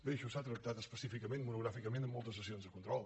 bé això s’ha tractat específicament i monogràficament en mol·tes sessions de control